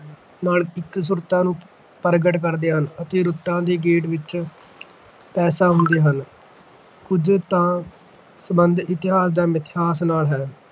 ਨਾਲ ਇੱਕਸੁਰਤਾ ਨੂੰ ਪ੍ਰਗਟ ਕਰਦੇ ਹਨ ਅਤੇ ਰੁੱਤਾਂ ਦੇ ਗੇੜ ਵਿੱਚ ਪੈਦਾ ਹੁੰਦੇ ਹਨ ਕੁਝ ਦਾ ਸੰਬੰਧ ਇਤਿਹਾਸ ਜਾਂ ਮਿਥਹਾਸ ਨਾਲ ਹੈ।